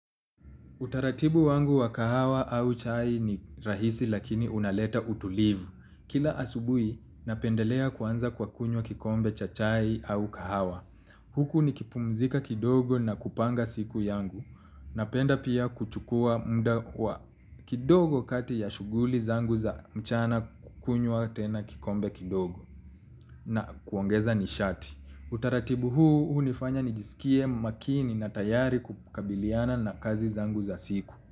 Utaratibu wangu wa kahawa au chai ni rahisi lakini unaleta utulivu. Kila asubuhi napendelea kuanza kwa kunywa kikombe cha chai au kahawa. Huku nikipumzika kidogo na kupanga siku yangu. Napenda pia kuchukua kwa kidogo kati ya shughuli zangu za mchana kunywa tena kikombe kidogo na kuongeza nishati. Utaratibu huu hunifanya nijisikie makini na tayari kukabiliana na kazi zangu za siku.